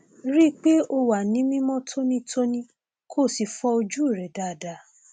rí i pé o wà ní mímọ tónítóní kó o sì fọ ojú rẹ dáadáa